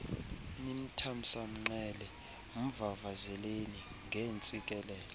nimthamsanqele mvavazeleni ngeentsikelelo